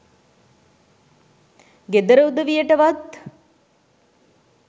ගෙදර උදවියටවත්